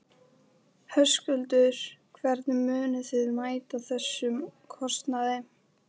Höskuldur: Hvernig munið þið mæta þessum kostnaði?